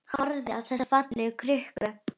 Horfir á þessa fallegu krukku.